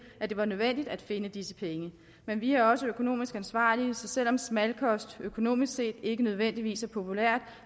at det var nødvendigt at finde disse penge men vi er også økonomisk ansvarlige så selv om smalkost økonomisk set ikke nødvendigvis er populært